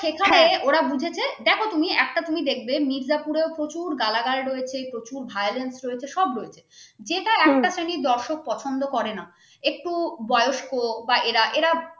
সেখানে ওরা বুঝেছে দেখ তুমি একটা তুমি দেখবে মির্জাপুর এ প্রচুর গালাগাল রয়েছে প্রচুর violence রয়েছে সব রয়েছে যেটা একটা শ্রেণীর দর্শক পছন্দ করে না একটু বয়স্ক বা এরা এরা